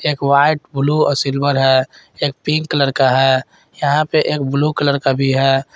एक white blue silver है एक पिंक कलर का है यहां पर एक ब्लू कलर का भी है।